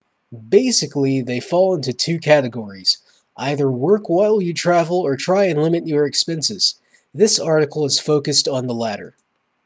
basically they fall into two categories either work while you travel or try and limit your expenses this article is focused on the latter